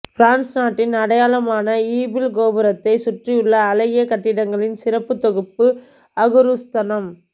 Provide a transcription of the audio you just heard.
France நாட்டின் அடையாளமான Eiffel கோபுரத்தை சுற்றியுள்ள அழகிய கட்டடங்களின் சிறப்பு தொகுப்பு அகுரூஸ்தனம்